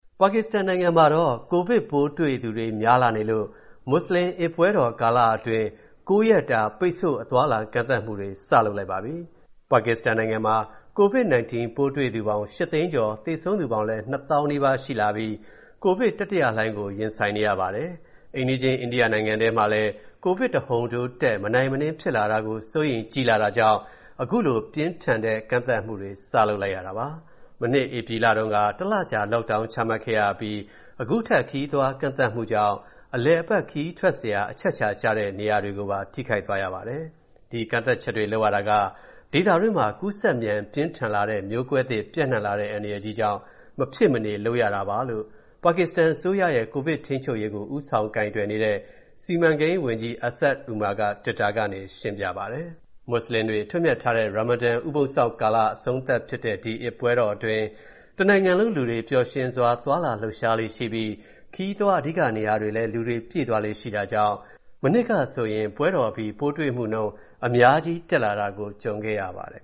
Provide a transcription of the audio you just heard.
ပါကစ္စတန်နိုင်ငံမှာ ကိုဗစ်ပိုးတွေ့သူတွေ များလာနေလို့ မွတ်စလင် အစ်ပွဲတော်ကာလအတွင်း ၉ ရက်တာ ပိတ်ဆို့ အသွားအလာ ကန့်သတ်မှုတွေ စလုပ်လိုက်ပါပြီ။ ပါကစ္စတန်နိုင်ငံမှာ ပိုးတွေ့သူပေါင်း ၈ သိန်းကျော်၊ သေဆုံးသူပေါင်းလည်း ၂၀,၀၀၀ နီးပါးရှိလာပြီး COVID-19 တတိယလှိုင်းကို ရင်ဆိုင်နေရပါတယ်။ အိမ်နီးချင်း အိန္ဒိယနိုင်ငံထဲမှာလည်း ကိုဗစ် တဟုန်ထိုးတက် မနိုင်မနင်း ဖြစ်လာတာကို စိုးရိမ်ကြီးလာတာကြောင့် အခုလို ပြင်းထန်တဲ့ ကန့်သတ်မှုတွေ စလုပ်လိုက်ရတာပါ။ မနှစ် ဧပြီတုန်းက တလကြာ Lockdown ချမှတ်ခဲ့ရပြီး အခုထပ် ခရီးသွားကန့်သတ်မှုကြောင့် အလည်အပတ် ခရီးထွက်စရာ အချက်အချာကျတဲ့ နေရာတွေကိုပါ ထိခိုက်သွားရပါတယ်။ ဒီကန့်သတ်ချက်တွေ လုပ်ရတာက ဒေသတွင်းမှာ ကူးစက်မြန် ပြင်းထန်လာတဲ့ မျိုးကွဲသစ် ပျံ့နှံ့လာတဲ့ အန္တရာယ်ကြီးကြောင့် မဖြစ်မနေ လုပ်ရတာပါလို့ ပါကစ္စတန်အစိုးရရဲ့ ကိုဗစ်ထိန်းချုပ်ရေးကို ဦးဆောင်ကိုင်တွယ်နေတဲ့ စီမံကိန်းဝန်ကြီး Asad Umer က တွစ်တာကနေ ရှင်းပြပါတယ်။ မွတ်စလင်တွေ အထွတ်အမြတ်ထားတဲ့ Ramadan ဥပုသ်စောင့်လ အဆုံးသတ်ဖြစ်တဲ့ ဒီအစ်ပွဲတော်အတွင်း တနိုင်ငံလုံးလူတွေ ပျော်ရွှင်စွာ သွားလာလှုပ်ရှားလေ့ရှိပြီး ခရီးသွား အဓိကနေရာတွေလည်း လူတွေပြည့်သွားလေ့ ရှိတာကြောင့် မနှစ်ကဆိုရင် ပွဲတော်အပြီး ပိုးတွေ့နှုန်း အများကြီးတက်လာတာ ကြုံခဲ့ရပါတယ်